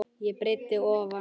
að breidd ofan.